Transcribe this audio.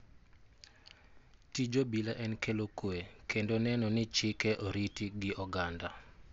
Tij obila en kelo kwe kendo neno ni chike oriti gi oganda.